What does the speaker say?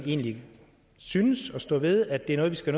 egentlig synes og står ved at det er noget vi skal